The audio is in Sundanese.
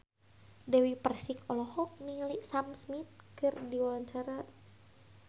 Dewi Persik olohok ningali Sam Smith keur diwawancara